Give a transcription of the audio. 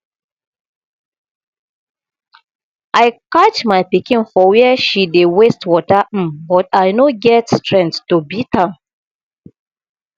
i catch my pikin for where she dey waste water um but i no get strength to beat am